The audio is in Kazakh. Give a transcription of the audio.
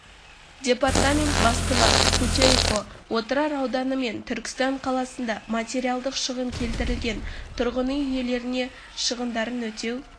департамент бастығы путейко отырар ауданы мен түркістан қаласында материалдық шығын келтірілген тұрғын үй иелеріне шығындарын өтеу